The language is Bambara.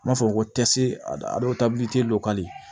N b'a fɔ ko